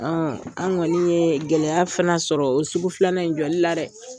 Ɔɔ an kɔni ye gɛlɛya fana sɔrɔ o sugu filanan in jɔli la dɛ!